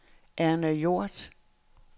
Erna Hjort